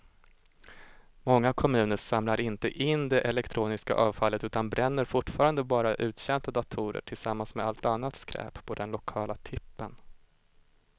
Många kommuner samlar inte in det elektroniska avfallet utan bränner fortfarande bara uttjänta datorer tillsammans med allt annat skräp på den lokala tippen.